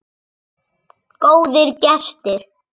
Góðir gestir.